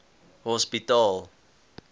hospitaal